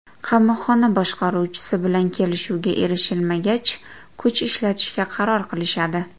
Qamoqxona boshqaruvchisi bilan kelishuvga erishilmagach, kuch ishlatishga qaror qilishadi.